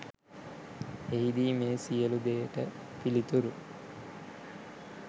එහිදී මේ සියළු දේයට පිළිතුරු